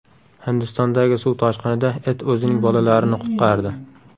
Hindistondagi suv toshqinida it o‘zining bolalarini qutqardi .